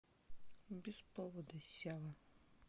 без повода сява